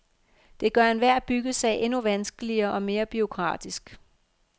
Det gør enhver byggesag endnu vanskeligere og mere bureaukratisk.